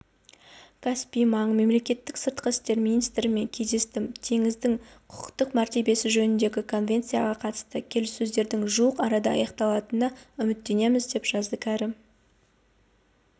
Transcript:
каспий маңы мемлекеттерінің сыртқы істер министрлерімен кездестім теңіздің құқықтық мәртебесі жөніндегі конвенцияға қатысты келіссөздердің жуық арада аяқталатынына үміттенеміз деп жазды кәрім